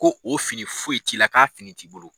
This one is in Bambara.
Ko o fini foyi t'i la, k'a fini t'i bolo